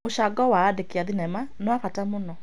Mũcango wa andĩki a thenema nĩ wa bata mũno.